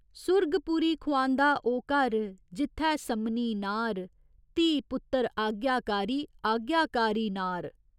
सुरगपुरी खुआंदा ओह् घर जित्थै सम्मनी नार धी पुत्तर आज्ञाकारी, आज्ञाकारी नार।